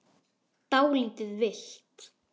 Dálítið villt!